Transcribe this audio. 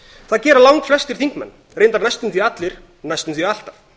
það gera langflestir þingmenn reyndar næstum því allir næstum því alltaf